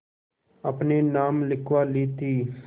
अपने नाम लिखवा ली थी